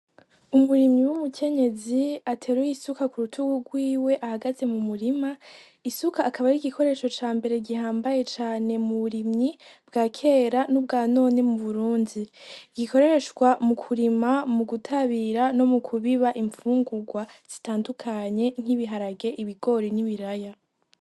Umurimyi w'umukenyezi ateruye isuka kurutugu rwiwe ahagaze mu murima, isuka akaba ari igikoresho cambere gihambaye cane mu burimyi bwakera nubwa none muburunzi gikoreshwa mukurima ,mugutabira, mukubiba imvungurwa zitandukanye nk'ibiharage, ibigori n'ibiraya.